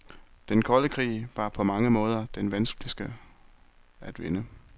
Den kolde krig var på mange måder den vanskeligste at vinde.